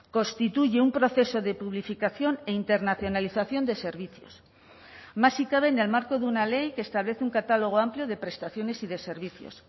constituye un proceso de publificación e internacionalización de servicios más si cabe en el marco de una ley que establece un catálogo amplio de prestaciones y de servicios